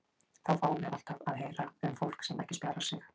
Þá fáum við alltaf að heyra um fólk sem ekki spjarar sig.